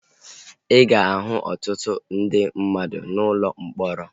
Ị ga-ahụ ọtụtụ ndị mmadụ n'ụlọ mkpọrọ